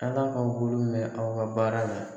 Ala k'aw bolo mɛn aw ka baara la.